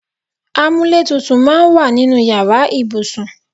Amúlétutù máa ń wà nínú ìyára ibùsùn.